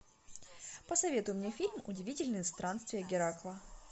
посоветуй мне фильм удивительные странствия геракла